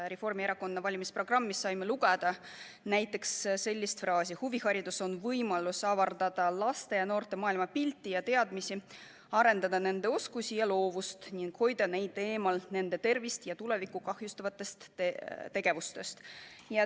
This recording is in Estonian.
Reformierakonna valimisprogrammist saime lugeda näiteks sellist lauset: huviharidus on võimalus avardada laste ja noorte maailmapilti ja teadmisi, arendada nende oskusi ja loovust ning hoida neid eemal nende tervist ja tulevikku kahjustavatest tegevustest.